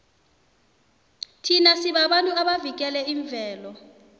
thina sibabantu abavikela imvelo